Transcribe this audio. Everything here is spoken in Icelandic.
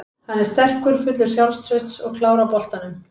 Hann er sterkur, fullur sjálfstrausts og klár á boltanum.